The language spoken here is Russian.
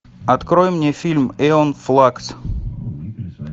открой мне фильм эон флакс